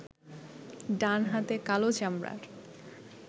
ডানহাতে কালো চামড়ার